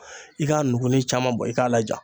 I k'a nugu ni caman bɔ i k'a laja